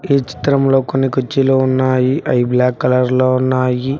ఈ చిత్రంలో కొన్ని కుర్చీలు ఉన్నాయి అవి బ్లాక్ కలర్లో ఉన్నాయి.